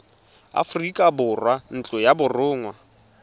aforika borwa ntlo ya borongwa